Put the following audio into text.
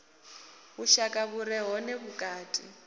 vhushaka vhu re hone vhukati